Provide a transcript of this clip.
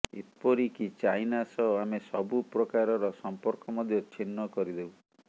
ଏପରି କି ଚାଇନା ସହ ଆମେ ସବୁ ପ୍ରକାରର ସମ୍ପର୍କ ମଧ୍ୟ ଚ୍ଛିନ୍ନ କରିଦେବୁ